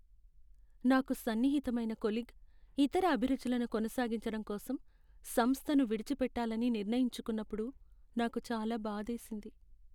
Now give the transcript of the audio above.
నాకు సన్నిహితమైన కొలీగ్ ఇతర అభిరుచులను కొనసాగించడం కోసం సంస్థను విడిచిపెట్టాలని నిర్ణయించుకున్నప్పుడు నాకు చాలా బాధేసింది.